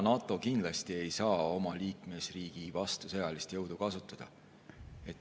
NATO kindlasti ei saa oma liikmesriigi vastu sõjalist jõudu kasutada.